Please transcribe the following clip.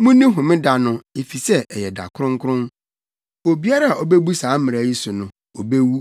“ ‘Munni Homeda no, efisɛ ɛyɛ da kronkron. Obiara a obebu saa mmara yi so no, obewu.